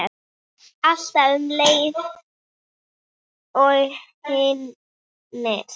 Alltaf um leið og hinir.